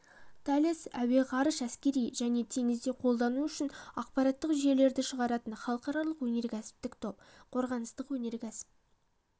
талес әуе ғарыш әскери және теңізде қолдану үшін ақпараттық жүйелерді шығаратын халықаралық өнеркәсіптік топ қорғаныстық өнеркәсіп